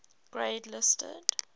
grade listed